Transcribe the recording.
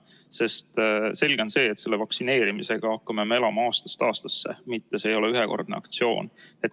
Sest selge on see, et vaktsineerimisega me hakkame elama aastast aastasse, see ei ole ühekordne aktsioon.